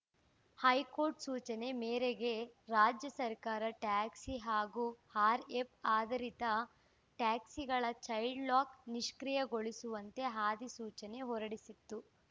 high court ಸೂಚನೆ ಮೇರೆಗೆ ರಾಜ್ಯ ಸರ್ಕಾರ ಟ್ಯಾಕ್ಸಿ ಹಾಗೂ ಆ್ಯಪ್‌ ಆಧಾರಿತ ಟ್ಯಾಕ್ಸಿಗಳ ಚೈಲ್ಡ್‌ಲಾಕ್‌ ನಿಷ್ಕ್ರಿಯೆಗೊಳಿಸುವಂತೆ ಅಧಿಸೂಚನೆ ಹೊರಡಿಸಿತ್ತು